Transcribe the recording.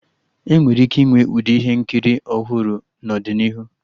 Enwere ike ịnwe Ụdị ihe nkiri ọhụrụ n'ọdịnihu